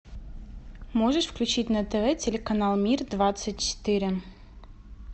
можешь включить на тв телеканал мир двадцать четыре